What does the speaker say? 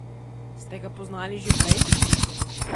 Ste ga poznali že prej?